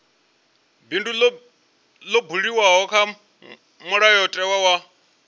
bindu ḽo buliwaho kha mulayotewa